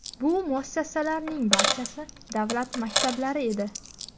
Bu muassasalarning barchasi davlat maktablari edi.